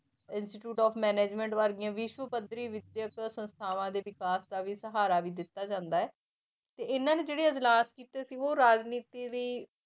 Institute of management ਵਰਗੀਆਂ ਵਿਸ਼ਵ ਪੱਧਰੀ ਵਿਦਿਅਕ ਸੰਸਥਾਵਾਂ ਦੇ ਵਿਕਾਸ ਦਾ ਵੀ ਸਹਾਰਾ ਵੀ ਦਿੱਤਾ ਜਾਂਦਾ ਹੈ, ਤੇ ਇਹਨਾਂ ਨੇ ਜਿਹੜੇ ਇਜਲਾਸ ਕੀਤੇ ਸੀ ਉਹ ਰਾਜਨੀਤੀ ਵੀ